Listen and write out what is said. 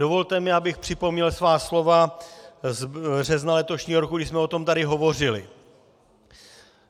Dovolte mi, abych připomněl svá slova z března letošního roku, když jsme o tom tady hovořili.